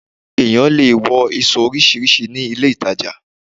Èyàn lè wọ ìṣọ̀ oríṣiríṣi ní ilé-ìtajà